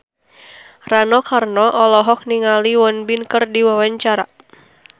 Rano Karno olohok ningali Won Bin keur diwawancara